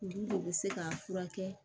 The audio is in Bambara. Olu de bɛ se k'a furakɛ